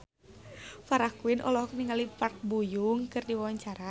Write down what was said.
Farah Quinn olohok ningali Park Bo Yung keur diwawancara